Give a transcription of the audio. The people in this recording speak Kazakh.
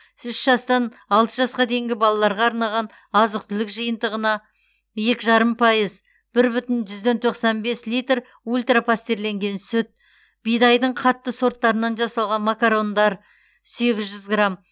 с үш жастан алты жасқа дейінгі балаларға арнаған азық түлік жиынтығына екі жарым пайыз бір бүтін жүзден тоқсан бес литр ультра пастерленген сүт бидайдың қатты сорттарынан жасалған макарондар сегіз жүз грамм